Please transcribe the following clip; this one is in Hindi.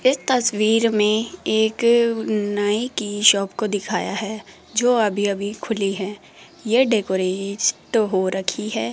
इस तस्वीर में एक नाई की शॉप को दिखाया है जो अभी अभी खुली है यह तो हो रखी है।